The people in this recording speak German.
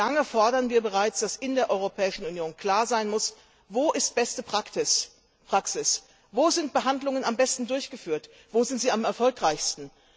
Wie lange fordern wir bereits, dass in der Europäischen Union klar sein muss, wo beste Praxis ist? Wo werden Behandlungen am besten durchgeführt, wo sind sie am erfolgreichsten?